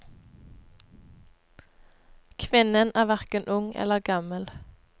Kvinnen er hverken ung eller gammel.